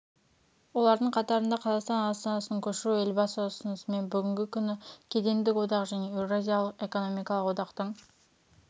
олардың қатарында қазақстан астанасын көшіру елбасы ұсынысымен бүгінгі күні кедендік одақ және еуразиялық экономикалық одақтың